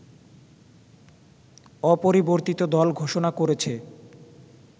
অপরিবর্তিত দল ঘোষণা করেছে